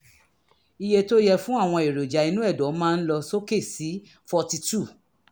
iye tó yẹ fún àwọn èròjà inú ẹ̀dọ̀ máa ń lọ sókè sí forty two